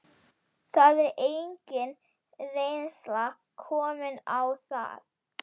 Það er engin reynsla komin á það.